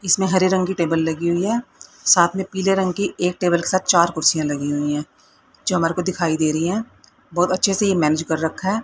इसमें हरे रंग की टेबल लगी हुई है साथ मे पीले रंग की एक टेबल के साथ चार कुर्सीयां लगी हुई है जो हमारे को दिखाई दे रही हैं बहोत अच्छे से ये मैनेज कर रखा--